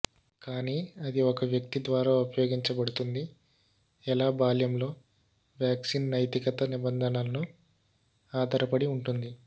కానీ అది ఒక వ్యక్తి ద్వారా ఉపయోగించబడుతుంది ఎలా బాల్యంలో వ్యాక్సిన్ నైతికత నిబంధనలను ఆధారపడి ఉంటుంది